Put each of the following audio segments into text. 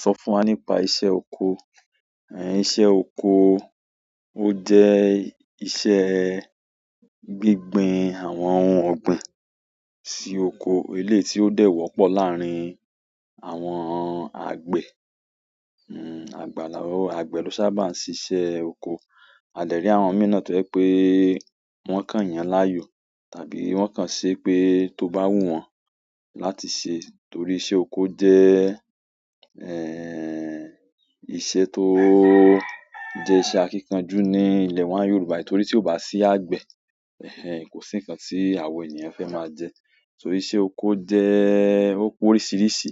Sọ fún wa nípa iṣẹ́ oko. Ẹ̀, iṣẹ́ oko ó jẹ́ iṣẹ́ gbíngbin àwọn ohun ọ̀gbìn sí oko. Eléyì tí ó dẹ̀ wọ́pọ̀ láàrin àwọn àgbẹ̀, mm, àgbàlà-- àgbẹ̀ ló sábà ń ṣíṣẹ́ oko. A lè rí àwọn míì náà tó jẹ́ pé wọ́n kàn yàn án láàyò tàbí wọ́n kàn ṣe pé tó bá wù wọ́n láti ṣe, torí iṣẹ́ oko jẹ́, ẹ̀, iṣẹ́ tó jẹ́ iṣẹ́ akíkanjú ní ilẹ̀ wa Yorùbá. Torí tí ò bá sí àgbẹ̀, ẹ́hẹ̀n, kò sí nǹkan tí àwọn ènìyàn fẹ́ máa jẹ. Torí iṣẹ́ oko jẹ́-- ó pé oríṣiríṣi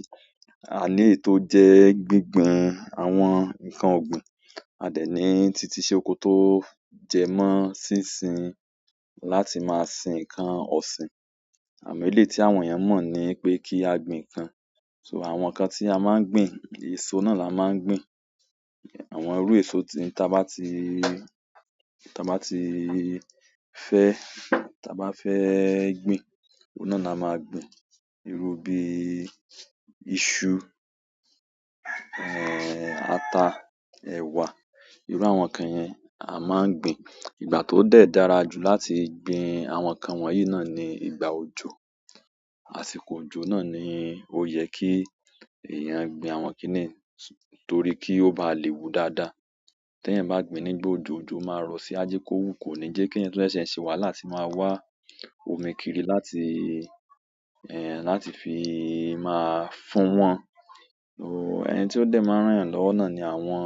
a léyì tó jẹ́ gbíngbin àwọn nǹkan ọ̀gbìn. A dẹ̀ ní titi iṣẹ́ oko tó jẹ mọ́ síṣin láti máa sin nǹkan ọ̀sìn, àmọ́ eléyì tí àwọn ènìyàn mọ̀ ni pé kí a gbìn nǹkan. So àwọn nǹkan tí a máa ń gbìn, èso náà la máa ń gbìn. Àwọn irú èso tí tà bá ti, tà bá ti fẹ́, tà bá fẹ́ gbìn, òun náà la máa gbìn. Irú bí iṣu, ẹ̀, ata, ẹ̀wà, irú àwọn nǹkan yẹn a máa ń gbìn. Ìgbà tó dẹ̀ dára jù láti gbìn àwọn nǹkan wọ̀nyí náà ni ìgbà òjò. Àsìkò òjò náà ni ó yẹ kí èèyàn gbìn àwọn kíníì torí kí ó bá lè wù dáadáa. Téèyàn bá gbìn ín nígbà òjò, òjò máa rọ̀ sí á á jé kó wù kò ní jẹ́ kí ènìyàn tú ṣẹ́sẹ̀ ṣe wàhálà láti máa wá omi kiri láti, ẹ́, láti fi máa fún wọ́n. Òò, ẹni tí ó dẹ̀ máa rán yàn lọ́wọ́ náà ni àwọn,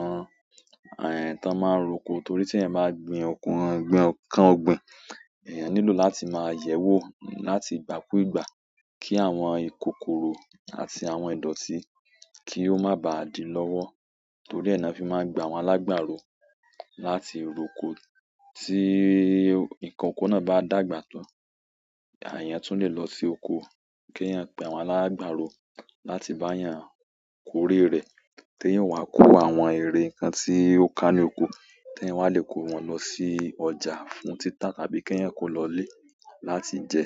ẹ̀, táa máa ń roko torí tí ẹ́ bá gbìn ọ̀kùnún, gbìn ọ̀kán ọ̀gbìn, èèyàn nílò láti máa yẹ̀wò láti ìgbà kú ìgbà kí àwọn ìkòkòró àti àwọn ìdọ̀tí kí ó má bà á dì lọ́wọ́. Torí ẹ́ náà fi máa gbà àwọn alágbàro láti roko. Tí ìkankọ náà bá dàgbà tán, àyàn tún lè lọ sí oko kí èèyàn pẹ àwọn alágbàro láti bá èèyàn kórè rẹ̀. Téyàn ó wá kó àwọn èrè, nǹkan tí ó ká ní oko, téyàn wá lè kó wọn lọ sí ọjà fún títà tàbí téyàn kó lọ ilé láti jẹ.